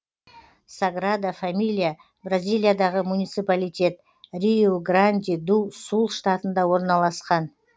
саграда фамилия бразилиядағы муниципалитет риу гранди ду сул штатында орналасқан